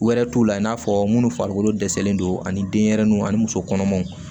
Wɛrɛ t'u la i n'a fɔ minnu farikolo dɛsɛlen don ani denyɛrɛninw ani musokɔnɔmaw